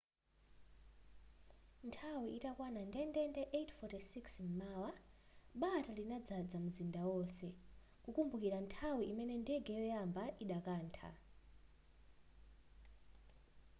nthawi itakwana ndendende 8:46 m'mawa bata linadzadza munzinda onse kukumbukira nthawi imene ndege yoyamba idakantha